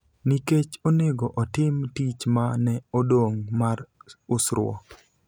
nikech onego otim tich ma ne odong� mar usruok.